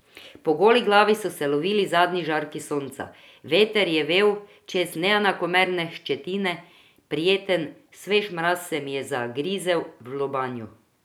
Po goli glavi so se lovili zadnji žarki sonca, veter je vel čez neenakomerne ščetine, prijeten, svež mraz se mi je zagrizel v lobanjo.